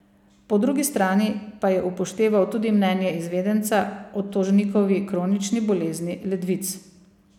Po drugi strani pa je upošteval tudi mnenje izvedenca o tožnikovi kronični bolezni ledvic.